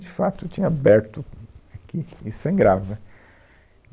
De fato, tinha aberto aqui e sangrava.